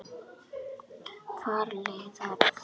Far leiðar þinnar.